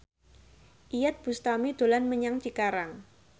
Iyeth Bustami dolan menyang Cikarang